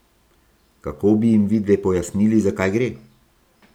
Kako bi jim vidve pojasnili, za kaj gre?